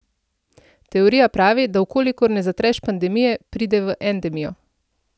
Teorija pravi, da v kolikor ne zatreš pandemije, pride v endemijo.